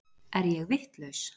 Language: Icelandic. Er ég vitlaus!